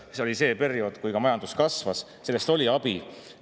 See oli see periood, kui majandus kasvas, sellest oli abi.